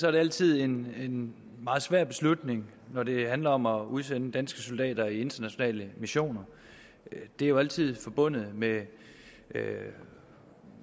er det altid en meget svær beslutning når det handler om at udsende danske soldater i internationale missioner det er jo altid forbundet med med